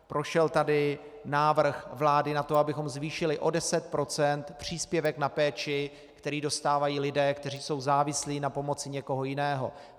Prošel tady návrh vlády na to, abychom zvýšili o 10 % příspěvek na péči, který dostávají lidé, kteří jsou závislí na pomoci někoho jiného.